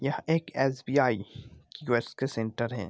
यह पर S B .I. Centre हैं।